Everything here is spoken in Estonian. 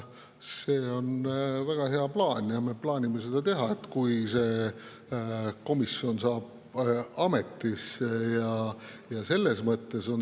See on väga hea plaan ja me plaanime seda teha, kui komisjon saab ametisse.